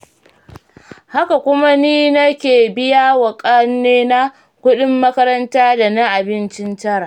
Haka kuma ni nake biyawa ƙannena kuɗin makaranta da na abincin tara.